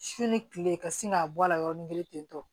Su ni kile ka sin k'a bɔ a la yɔrɔnin kelen ten tɔ